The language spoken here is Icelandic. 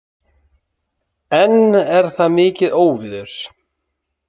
Enn er þar mikið óveður